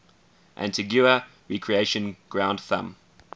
antigua recreation ground thumb